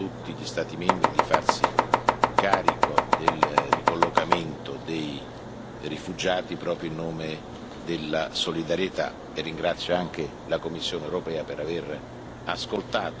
Il Parlamento europeo ha fatto ascoltare la sua voce chiedendo a tutti gli Stati membri di farsi carico del ricollocamento dei rifugiati proprio in nome della solidarietà.